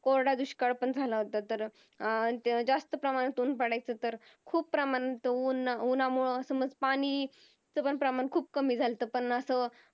कोरडा दुष्काळपण झाला होता तर अं जास्त प्रमाणातून पडायचं तर खूप प्रमाणात ऊन उन्हामुळं समज पाणी च प्रमाण पण खूप कमी झालत पण असा